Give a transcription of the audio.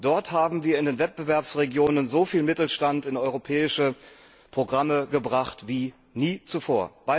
Dort haben wir in den Wettbewerbsregionen so viel Mittelstand in europäische Programme gebracht wie nie zuvor.